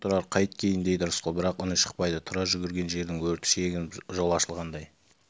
күйесің тұрар қайт кейін дейді рысқұл бірақ үні шықпайды тұрар жүгірген жердің өрті шегініп жол ашылғандай